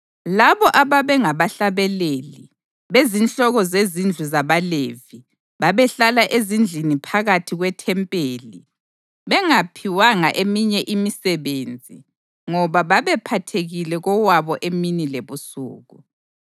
Labo ababengabahlabeleli, bezinhloko zezindlu zabaLevi, babehlala ezindlini phakathi kwethempeli bengaphiwanga eminye imisebenzi ngoba babephathekile kowabo emini lebusuku.